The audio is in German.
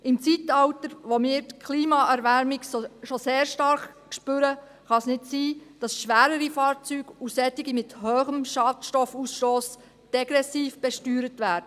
Im Zeitalter, in dem wir die Klimaerwärmung schon sehr stark spüren, kann es nicht sein, dass schwerere Fahrzeuge und solche mit hohem Schadstoffausstoss degressiv besteuert werden.